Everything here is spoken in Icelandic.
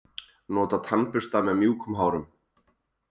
Nota tannbursta með mjúkum hárum.